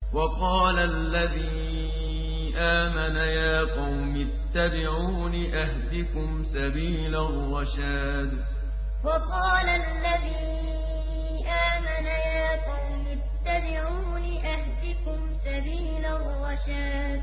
وَقَالَ الَّذِي آمَنَ يَا قَوْمِ اتَّبِعُونِ أَهْدِكُمْ سَبِيلَ الرَّشَادِ وَقَالَ الَّذِي آمَنَ يَا قَوْمِ اتَّبِعُونِ أَهْدِكُمْ سَبِيلَ الرَّشَادِ